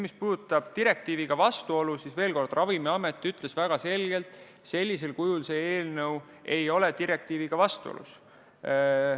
Mis puudutab direktiiviga vastuolu, siis veel kord: Ravimiamet ütles väga selgelt: sellisel kujul see eelnõu ei ole direktiiviga vastuolus.